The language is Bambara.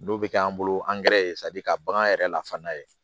N'o bɛ kɛ an bolo angɛrɛ ye ka bagan yɛrɛ la fana ye